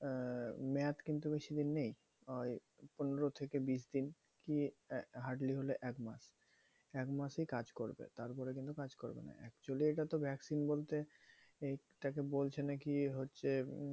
আহ মেয়াদ কিন্তু বেশি দিন নেই। ওই পনেরো থেকে বিশ দিন। কি hardly হলে এক মাস। এক মাসই কাজ করবে। তারপরে কিন্তু কাজ করবে না। actually এটাতো vaccine বলতে এইটাকে বলছে নাকি হচ্ছে উম